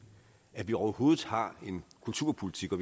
at vi overhovedet har en kulturpolitik og